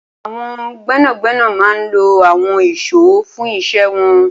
Awọn gbẹnágbẹná má n ló awọn ìṣó fùn iṣẹ̀ wọn